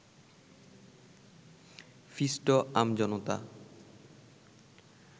পিষ্ট আমজনতা